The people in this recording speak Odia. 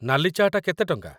ନାଲି ଚା'ଟା କେତେ ଟଙ୍କା?